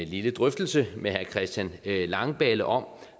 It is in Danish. lille drøftelse med herre christian langballe om